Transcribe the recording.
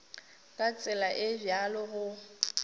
ka tsela e bjalo go